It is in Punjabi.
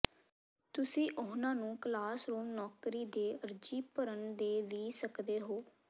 ਤੁਸੀਂ ਉਨ੍ਹਾਂ ਨੂੰ ਕਲਾਸਰੂਮ ਨੌਕਰੀ ਦੇ ਅਰਜ਼ੀ ਭਰਨ ਦੇ ਵੀ ਸਕਦੇ ਹੋ